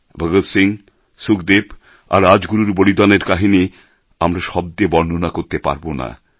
ভগৎ সিং সুখদেব আর রাজগুরুর বলিদানের কাহিনি আমরা শব্দে বর্ণনা করতে পারব না